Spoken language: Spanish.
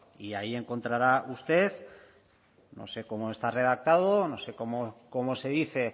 y ahí encontrará usted no sé cómo está redactado no sé cómo se dice